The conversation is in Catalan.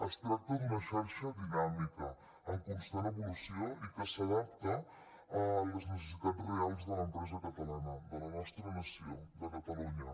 es tracta d’una xarxa dinàmica en constant evolució i que s’adapta a les necessitats reals de l’empresa catalana de la nostra nació de catalunya